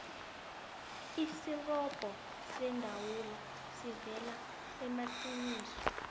isirobho seendawula siveza amaqiniso